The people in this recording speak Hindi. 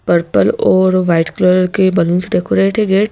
पर्पल और वाइट कलर के बैलून्स डेकोरेट है गेट --